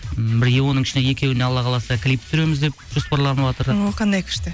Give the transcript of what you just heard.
м бірге оның ішінде екеуіне алла қаласа клип түсіреміз деп жоспарланыватыр о қандай күшті